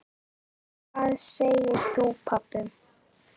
Hvað segir þú pabbi?